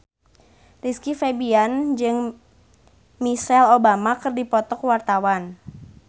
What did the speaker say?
Rizky Febian jeung Michelle Obama keur dipoto ku wartawan